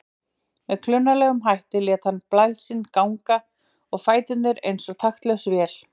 Með klunnalegum hætti lét hann bægslin ganga og fæturnir eins og taktlaus vél.